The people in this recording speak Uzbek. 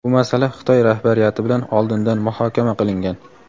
bu masala Xitoy rahbariyati bilan oldindan muhokama qilingan.